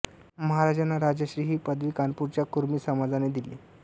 महाराजांना राजर्षी ही पदवी कानपूरच्या कुर्मी समाजाने दिली